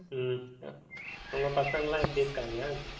ஹம் உங்க பசங்க எல்லாம் எப்படி இருக்காங்க